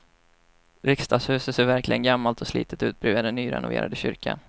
Riksdagshuset ser verkligen gammalt och slitet ut bredvid den nyrenoverade kyrkan.